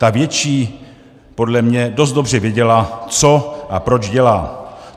Ta větší podle mě dost dobře věděla, co a proč dělá.